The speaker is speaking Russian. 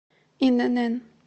инн